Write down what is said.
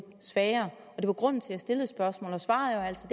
svagere og det var grunden til at jeg stillede spørgsmålet og svaret er altså